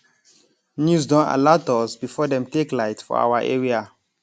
news don alat us before dem take light for our area